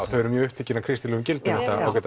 þau eru mjög upptekin af kristilegum gildum